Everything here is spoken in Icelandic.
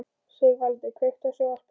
Sigvaldi, kveiktu á sjónvarpinu.